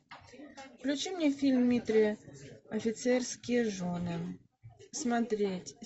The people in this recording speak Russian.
включи мне фильм дмитрия офицерские жены смотреть